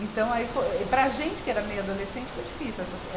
Então aí fo, e para a gente que era meio adolescente, foi difícil essa se eh.